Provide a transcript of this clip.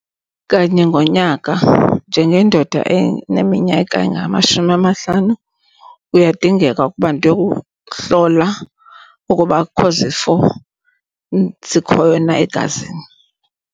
Kanye ngonyaka njengendoda eneminyaka engamashumi amahlanu kuyadingeka ukuba ndiyohlola ukuba akukho zifo zikhoyo na egazini.